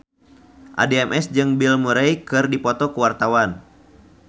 Addie MS jeung Bill Murray keur dipoto ku wartawan